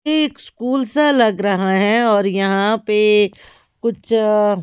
ये एक स्कूल सा लग रहा है और यहां पे कुछ अ--